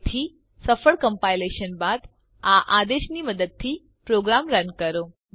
તેથી સફળ કમ્પાઇલેશન બાદ આ આદેશની મદદથી પ્રોગ્રામ રન કરો